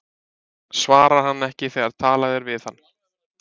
Svarar hann ekki þegar talað er við hann?